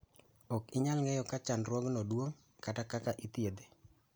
ok inyal ng'eyo ga chandruogno duong' kata kaka ithiedhe